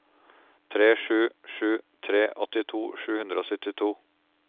tre sju sju tre åttito sju hundre og syttito